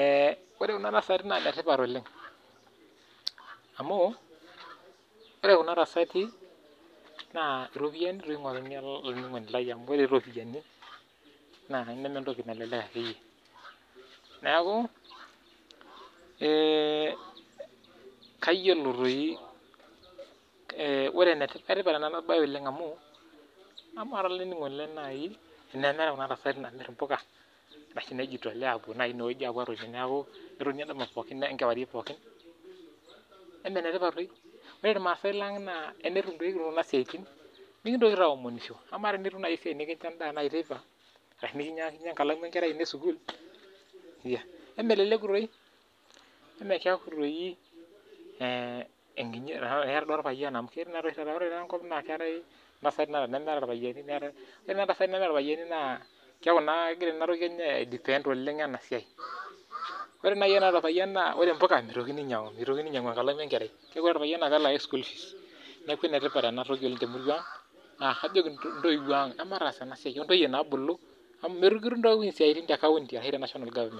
ee ore kuna tasati na enetipat amu ore kuna tasati na ropiyani egira aingoru olaininingoni lai amu ore ropiyani na mentoki nalelek akeeyie neaku kayiolo toi orwwnetipat enabae amu ama nai olaininingoni lai tenemeetae kuna tasati namir mpuka nijitolea apuo atoki ketoni enkewarie pooki ama enetipat toi ore irmasai lang tenikitum nai kuja sitain mikingil toi aomonisho amaa nai enikitum kuna siatin nikincho endaa teipabashu nikincho enkalamu enkerai esukul ameleleku toi ama keaku ee eera duo orpayian ore ntasati nemeta irpayiani naakeaku naa kegira inatoki enye aidepend inasiai ore na ilo payian mitoki ainyangu enkalamu enkerai neaku ore orpayian na kelak school fees neaku enetipat enatoki oleng temurua amu mikitum toi Siatin te county ashu te national government